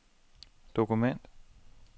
dokument